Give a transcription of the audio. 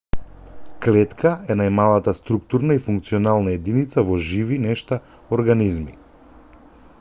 клетка е најмалата структурна и функционална единица во живи нешта организми